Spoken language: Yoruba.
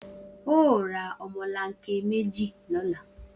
O óò ra o̩mo̩lanke méjì ló̩la!